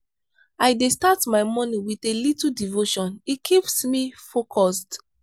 i dey start my morning with a little devotion it keeps me focused.